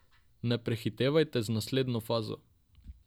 Ne prehitevajte z naslednjo fazo.